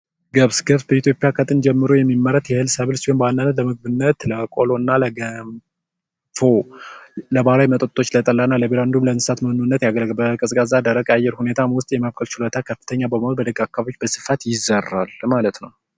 ገብስ፡ ገብስ በኢትዮጵያ ከጥንት ጀምሮ የሚመረት የእህል ሰብል ሲሆን ለምግብነት ለቆሎና፣ ለገንፎ እና እና ለባህላዊ መጠጦች ለጠላ፣ ለቢራ እንዲሁም ለእንስሳት መኖነት ያገለግላል። በቀዝቃዛ አየር ውስጥም የመብቀል ችሎታው ከፍተኛ በመሆኑ በደረቅ አካባቢዎች በስፋት ይዘራል ማለት ነው።